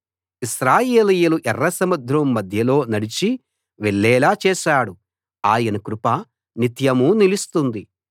ఇశ్రాయేలీయులు ఎర్రసముద్రం మధ్యలో నడిచి వెళ్ళేలా చేశాడు ఆయన కృప నిత్యమూ నిలుస్తుంది